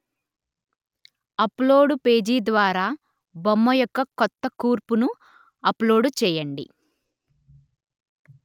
upload page ద్వారా బొమ్మ యొక్క కొత్త కూర్పును అప్‌లోడు చెయ్యండి